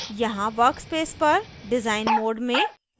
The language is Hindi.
यहाँ workspace पर डिजाइन mode में